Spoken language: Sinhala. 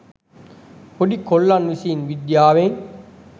පොඩි කොල්ලන් විසින් විද්‍යාවෙන්